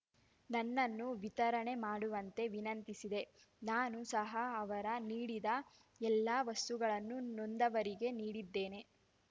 ನನ್ನನ್ನು ವಿತರಣೆ ಮಾಡುವಂತೆ ವಿನಂತಿಸಿದೆ ನಾನು ಸಹ ಅವರು ನೀಡಿದ ಎಲ್ಲಾ ವಸ್ತುಗಳನ್ನು ನೊಂದವರಿಗೆ ನೀಡಿದ್ದೇನೆ